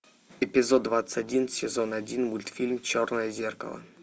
эпизод двадцать один сезон один мультфильм черное зеркало